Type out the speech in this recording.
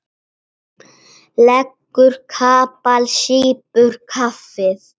Leggur kapal, sýpur kaffið.